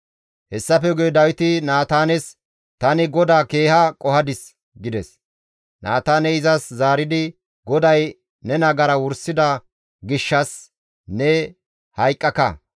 Hessafe guye Dawiti Naataanes, «Tani GODAA keeha qohadis» gides; Naataaney izas zaaridi, «GODAY ne nagara wursida gishshas ne hayqqaka;